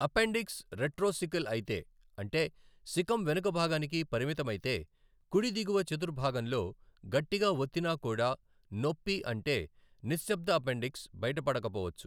Appendix retrocaecal అయితే అంటే caecum వెనుకభాగానికి పరిమితమైతే , కుడి దిగువ చతుర్భాగంలో గట్టిగా వత్తినా కూడా నొప్పి అంటే నిశ్శబ్ద అపెండిక్స్ బయటపడకపోవచ్చు.